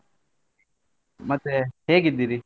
ಮತ್ತೆ ಹೇಗಿದ್ದೀರಿ?